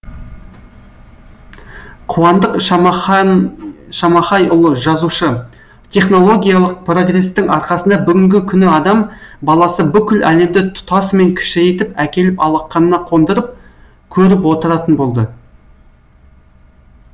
қуандық шамахайұлы жазушы технологиялық прогрестің арқасында бүгінгі күні адам баласы бүкіл әлемді тұтасымен кішірейтіп әкеліп алақанына қондырып көріп отыратын болды